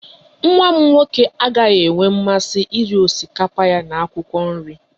Nwa m nwoke agaghị enwe mmasị iri osikapa ya na akwụkwọ nri